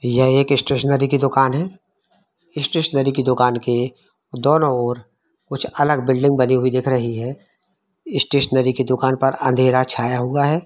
यह एक स्टेशनरी की दुकान है। स्टेशनरी की दुकान के दोनो ओर कुछ अलग बिल्डिंग बनी हुई दिख रही है। स्टेशनरी की दुकान पर अंधेरा छाया हुआ है।